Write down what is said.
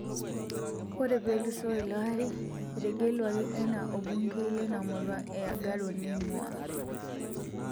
Ore peluso ilo ari ,etegeluaki ana obungei leina murua e Agaro neinguaa.